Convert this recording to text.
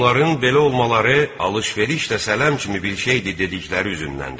Onların belə olmaları alış-veriş də sələm kimi bir şeydir dedikləri üzündəndir.